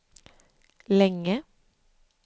länge